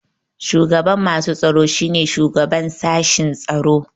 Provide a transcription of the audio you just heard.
Shugaban masu tsaro shine shugaban sashen tsaro.